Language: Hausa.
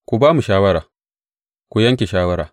Ku ba mu shawara, ku yanke shawara.